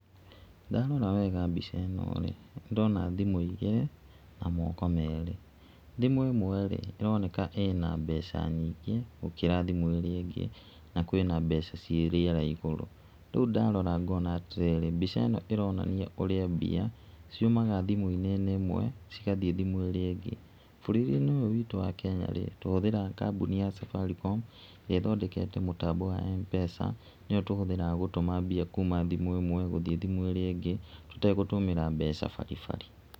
Ndarora wega mbica ĩno rĩ, ndĩrona thimũ igĩrĩ na moko merĩ, thimũ ĩmwe rĩ, ĩroneka ĩna mbeca nyingĩ, gũkĩra thimũ ĩríĩ ingĩ, na kwĩna mbeca ciĩ rĩera igũrũ, rĩu ndarora ngona atĩ rĩrĩ, mbica ĩno ĩronania ũrĩa mbia ciumaga thimũ-inĩ ĩmwe, cigathiĩ thimũ íĩĩa ĩngĩ. Bũrũri-inĩ ũyũ witũ wa Kenya rĩ, tũhũthĩraga kambuni ya Safaricom ĩrĩa ĩthondekete mũtambo wa M-pesa, nĩyo tũhũthĩraga gũtũmba mbia kuma thimũ ĩmwe gũthiĩ thimũ ĩrĩa ĩngĩ, tũtegũtũmĩra mbeca baribari.